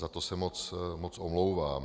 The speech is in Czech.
Za to se moc omlouvám.